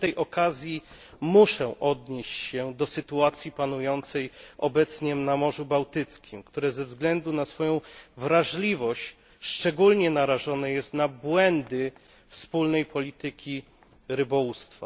Przy tej okazji muszę odnieść się do sytuacji panującej obecnie na Morzu Bałtyckim, które ze względu na swoją wrażliwość szczególnie narażone jest na błędy wspólnej polityki rybołówstwa.